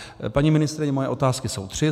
Paní ministryně, moje otázky jsou tři.